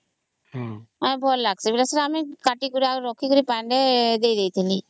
ଭଲ ଲାଗିଛି କଟିକିରି ରଖିଲେ ପାଣିରେ ଦେଇଦେଇଥିଲି